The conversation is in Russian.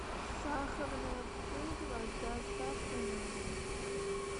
сахарная пудра с доставкой на дом